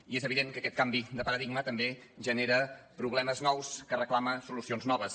i és evident que aquest canvi de paradigma també genera problemes nous que reclamen solucions noves